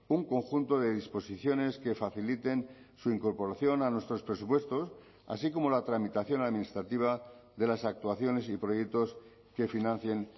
un conjunto de disposiciones que faciliten su incorporación a nuestros presupuestos así como la tramitación administrativa de las actuaciones y proyectos que financien